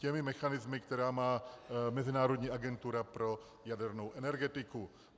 Těmi mechanismy, které má Mezinárodní agentura pro jadernou energetiku.